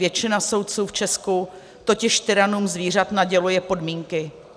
Většina soudců v Česku totiž tyranům zvířat naděluje podmínky.